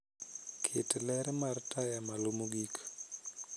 Ket ler mar taya malo mogik